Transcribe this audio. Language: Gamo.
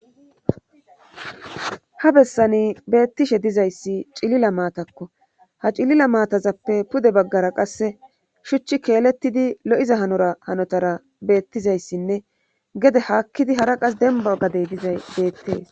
Ha bessani beettishe dizayssi cilila maatakko ha cilila maatazappe pude baggara qasse shuchchi keelettidi lo7iza hanora hanotara beettizayssinne gede haakkidi hara qas demba gadey dizay beettees.